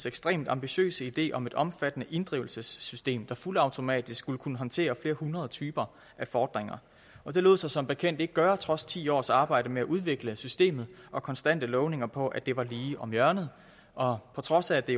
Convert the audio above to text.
ekstremt ambitiøse idé om et omfattende inddrivelsessystem der fuldautomatisk skulle kunne håndtere flere hundrede typer af fordringer det lod sig som bekendt ikke gøre trods ti års arbejde med at udvikle systemet og konstante lovninger på at det var lige om hjørnet og på trods af at det